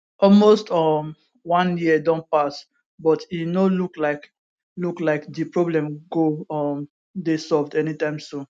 almost um one year don pass but e no look like look like di problem go um dey solved anytime soon